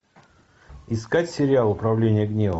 искать сериал управление гневом